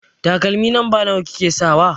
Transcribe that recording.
Takalmi lamba nawa kike sakawa?